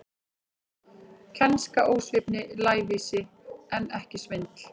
Kænska, ósvífni, lævísi, en ekki svindl.